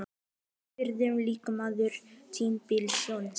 Hver verður leikmaður tímabilsins?